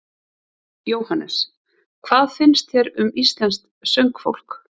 Jóhannes: Hvað finnst þér um íslenskt söngfólk?